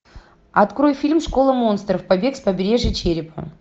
открой фильм школа монстров побег с побережья черепа